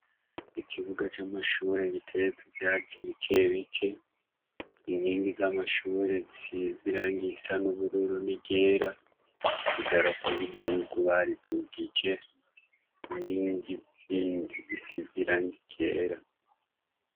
Ikibuga c'amashuri giteyeko ivyatsi bike bike inkingi z'amashuri zisize irangi risa n'ubururu n'iryera, idarapo ry'igihugu baridugije, inkingi zindi zisize irangi ryera.